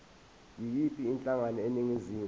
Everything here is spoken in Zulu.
yiyiphi inhlangano eningizimu